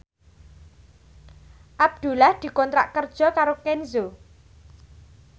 Abdullah dikontrak kerja karo Kenzo